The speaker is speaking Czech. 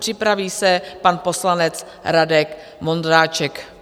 Připraví se pan poslanec Radek Vondráček.